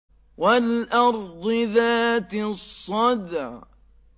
وَالْأَرْضِ ذَاتِ الصَّدْعِ